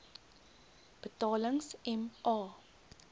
betalings m a